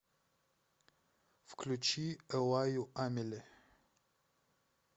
включи эллаю амели